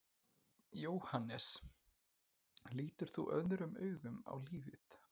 Jóhannes: Lítur þú öðrum augum á lífið?